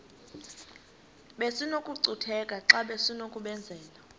besinokucutheka xa besinokubenzela